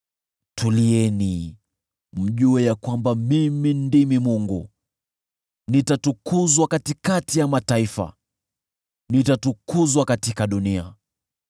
“Tulieni, mjue ya kwamba mimi ndimi Mungu; nitatukuzwa katikati ya mataifa, nitatukuzwa katika dunia.”